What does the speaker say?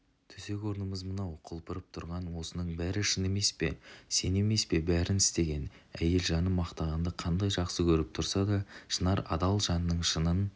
төсек-орнымыз мынау құлпырып тұрған осының бәрі шын емес пе сен емес пе бәрін істеген әйел жаны мақтағанды қандай жақсы көріп тұрса да шынар адал жанның шынын